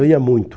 Eu ia muito.